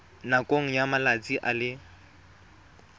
nakong ya malatsi a le